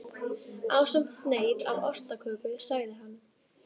Ásamt sneið af ostaköku sagði hann.